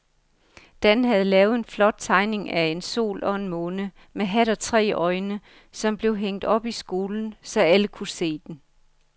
Dan havde lavet en flot tegning af en sol og en måne med hat og tre øjne, som blev hængt op i skolen, så alle kunne se den.